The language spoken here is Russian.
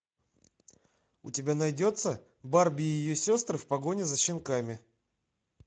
у тебя найдется барби и ее сестры в погоне за щенками